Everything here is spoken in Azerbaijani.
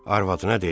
Arvadına dedi: